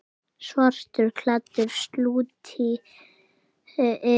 Svartur klettur slútti yfir.